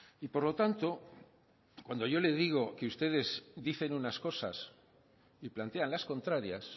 y por lo tanto cuando yo le digo que ustedes dicen unas cosas y plantean las contrarias